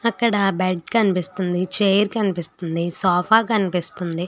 అక్కడ బెడ్ కనిపిస్తుంది చైర్ కనిపిస్తుంది సోఫా కనిపిస్తుంది.